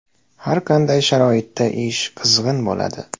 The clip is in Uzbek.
Har qanday sharoitda ish qizg‘in bo‘ladi.